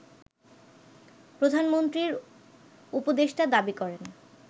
প্রধানমন্ত্রীর উপদেষ্টা দাবি করেন